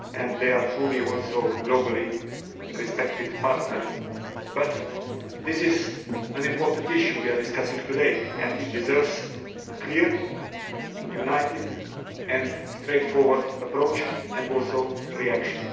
They are also truly a globally respected partner. But this is an important issue we are discussing today and it deserves a clear, united and straightforward approach and reaction.